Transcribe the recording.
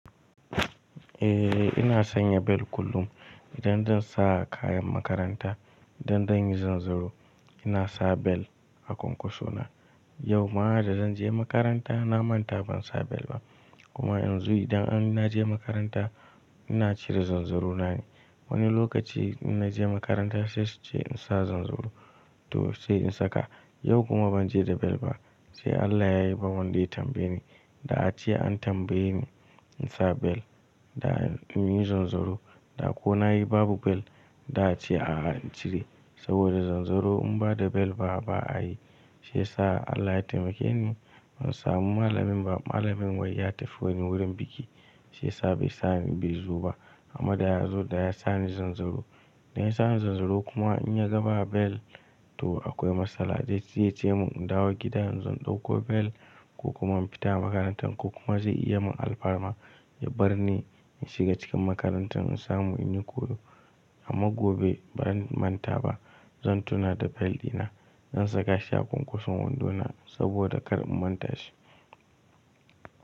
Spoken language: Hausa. Eh ina sanya bel kullum idan zan sa kayan makaranta, idan zan yi zanzaro ina sa bel a ƙonkoso na. Yau ma da zan je makaranta na manta ban sa bel ba kuma yanzu idan ina je makaranta ina cire zanzaronai. Wani lokaci ina je makaranta sai su ce in sa zanzaro to sai in saka. Yau kuma ban je da bel ba sai Allah ya yi ba wanda ya tambaye ni. Da a ce an tambaye ni in sa bel da in yi zanzaro da ko na yi babu bel da a ce a'a in cire saboda zanzaro in ba da bel ba a yi. Shi sa Allah ya taimake ni in samu malamin ba malamin wai ya tafi wani wurin biki sai sa bai sa ni bai zoba amma da ya zo da ya sa ni zanzaro. Da ya sa ni zanzaro kuma in ya ga ba bel to akwai matsala zai ce mun in dawo gida in zan ɗauko bel ko kuma in fita makaranta ko kuma zai iya mun alfarma ya bar ni in shiga cikin makaranta in samu in yi koyo amma gobe ba zan manta ba zan tuna da bel dina zan saka shi a ƙunkuson wando na saboda kar in manta shi.